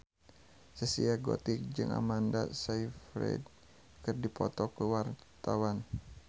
Zaskia Gotik jeung Amanda Sayfried keur dipoto ku wartawan